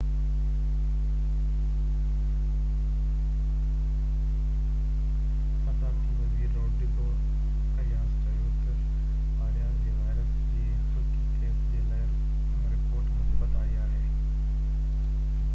صدارتي وزير Rodrigo Arias چيو ته آرياس جي وائرس جي هلڪي ڪيس جي لاءِ رپورٽ مثبت آئي آهي